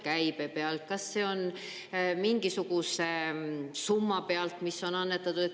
Kas see on käibe pealt, kas see on mingisuguse summa pealt, mis on annetatud?